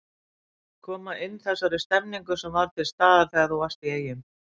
Koma inn þessari stemmningu sem var til staðar þegar þú varst í Eyjum?